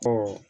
Ɔ